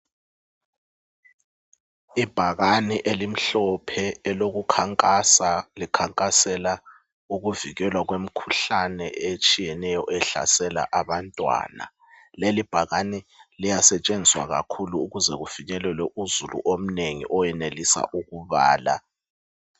Ibhakane elimhlophe elokukhankasa likhankasela ukuvikelwa kwemikhuhlane etshiyeneyo ehlasela abantwana lelibhakane liyasetshenziswa kakhulu ukuze kufinyelelwe uzulu omnengi owenelisa ukubala.